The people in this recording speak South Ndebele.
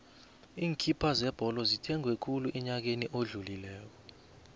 iinkipha zebholo zithengwe khulu enyakeni odlulileko